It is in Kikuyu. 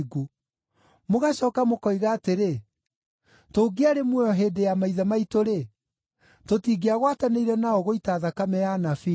Mũgacooka mũkoiga atĩrĩ, ‘Tũngĩarĩ muoyo hĩndĩ ya maithe maitũ-rĩ, tũtingĩagwatanĩire nao gũita thakame ya anabii.’